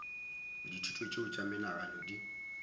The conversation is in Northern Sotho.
dithuto tšeo tša menagano di